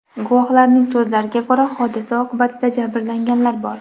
Guvohlarning so‘zlariga ko‘ra, hodisa oqibatida jabrlanganlar bor.